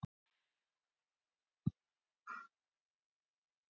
Jú, ætli það ekki